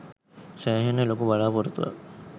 සෑහෙන්න ලොකු බලාපොරොත්තුවක්.